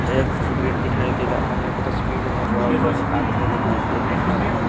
एक तस्वीर दिखाई दे रहा है तस्वीर में बहुत सारे आदमी दिखाई दे रहे हैं।